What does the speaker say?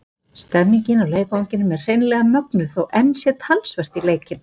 Stemningin á leikvangnum er hreinlega mögnuð þó enn sé talsvert í leikinn.